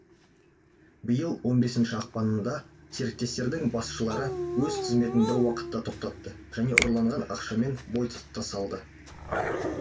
биыл он бесінші ақпанында серіктестіктердің басшылары өз қызметін бір уақытта тоқтатты және ұрланған ақшамен бой тасалады